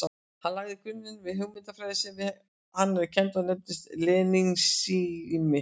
Hann lagði grunninn að hugmyndafræði sem við hann er kennd og nefnist lenínismi.